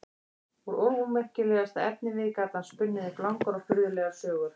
Úr ómerkilegasta efnivið gat hann spunnið upp langar og furðulegar sögur.